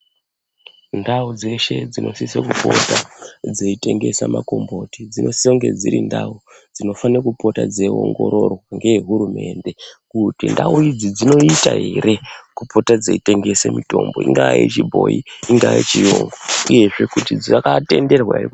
Ndau dzeshe dzinosise kupota dzeitengesa makomboti dzinosise kunge dziri ndau dzinofane kupota dzeiongororwa ngeehurumende. kuti ndau idzi dzinoita ere, kupota dzeitengesa mitombo, ingaa yechibhoi, ingaa yechiyungu, uyezve kuti dzakatenderwa ere.